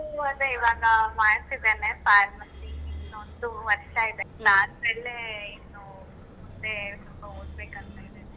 ಅದೇ ಇವಾಗ ಮಾಡ್ತಿದ್ದೇನೆ pharmacy ಇನ್ನೊಂದು ವರ್ಷ ಇದೆ maths , ಅಲ್ಲೇ ಇನ್ನು ಮುಂದೆ ಸ್ವಲ್ಪ ಓದ್ಬೇಕಂತ ಇದ್ದೇನೆ.